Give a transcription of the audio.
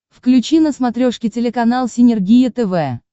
включи на смотрешке телеканал синергия тв